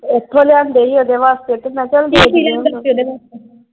ਓਥੋਂ ਲਿਆਂਦੇ ਸੀ। ਓਦੇ ਵਾਸਤੇ ਤੇ ਮੈਂ ਕਿਹਾ